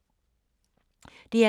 DR K